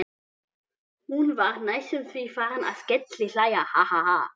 Hún var næstum því farin að skellihlæja.